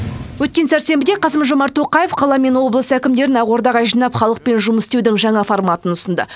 өткен сәрсенбіде қасым жомарт тоқаев қала мен облыс әкімдерін ақордаға жинап халықпен жұмыс істеудің жаңа форматын ұсынды